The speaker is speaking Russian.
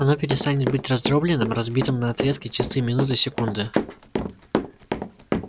оно перестанет быть раздроблённым разбитым на отрезки часы минуты секунды